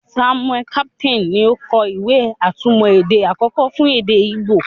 Samuel Crowther ni o kọ ìwé-atúmọ̀ èdè àkọ́kọ́ fún èdè Igbo.